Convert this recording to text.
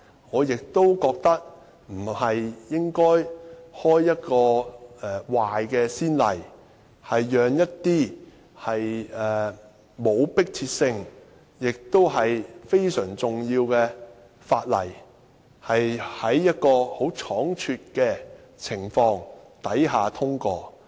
我亦覺得不應該開一個壞先例，讓一些無迫切性亦非常重要的法例倉卒通過。